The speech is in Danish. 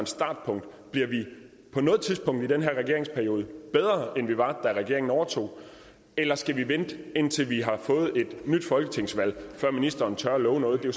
startpunkt bliver vi på noget tidspunkt i den her regeringsperiode bedre end vi var da regeringen overtog eller skal vi vente indtil vi har fået et nyt folketingsvalg før ministeren tør love noget det